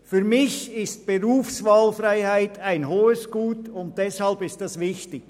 Für mich ist die Berufswahlfreiheit ein hohes Gut, und deshalb ist dies wichtig.